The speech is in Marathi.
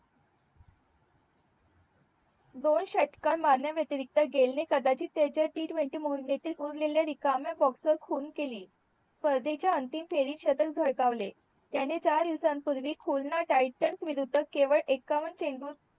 दोन षट्क्कर मारण्या व्यतिरिक्त गेल ने कदाचित त्याचे टी ट्वेंटी म्हणून उरलेल्या रिकाम्या बॉक्स चे खून केली स्पर्धेच्या अंतिम फेरीत शतक झळकावले त्याने चार दिवसान पूर्वी खुरणा टायटन विरुद्ध केवळ एकावन्न चेंडूत